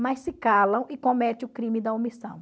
Mas se calam e cometem o crime da omissão.